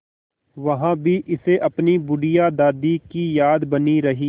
वहाँ भी इसे अपनी बुढ़िया दादी की याद बनी रही